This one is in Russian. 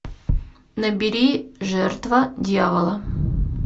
набери жертва дьявола